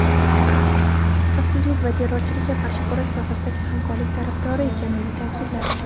xavfsizlik va terrorchilikka qarshi kurash sohasidagi hamkorlik tarafdori ekanini ta’kidladi.